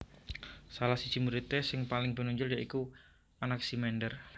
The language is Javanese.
Salah saji muridé sing paling pinunjul ya iku Anaximander